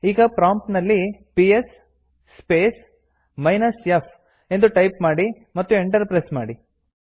ಈಗ ಪ್ರಾಂಪ್ಟ್ ನಲ್ಲಿ PS space minus f ಎಂದು ಟೈಪ್ ಮಾಡಿ ಮತ್ತು ಎಂಟರ್ ಪ್ರೆಸ್ ಮಾಡಿ